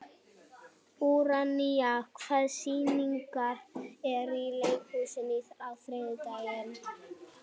Úranía, hvaða sýningar eru í leikhúsinu á þriðjudaginn?